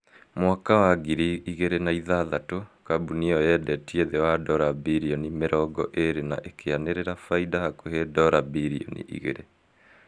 mwaka-inĩ wa ngiri igĩrĩ na ithathatũ kambuni ĩyo yendetie thĩ wa dora bilioni mĩongo ĩrĩ na ĩkĩanĩrĩra faida hakuhi dora bilioni igĩrĩ